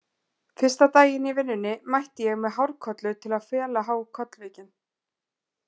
Fyrsta daginn í vinnunni mætti ég með hárkollu til að fela há kollvikin.